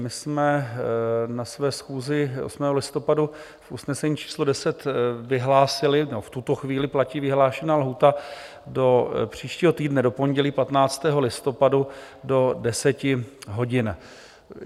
My jsme na své schůzi 8. listopadu v usnesení číslo 10 vyhlásili... nebo v tuto chvíli platí vyhlášená lhůta do příštího týdne do pondělí 15. listopadu do 10 hodin.